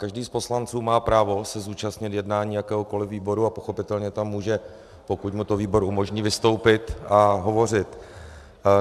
Každý z poslanců má právo se zúčastnit jednání jakéhokoliv výboru a pochopitelně tam může, pokud mu to výbor umožní, vystoupit a hovořit.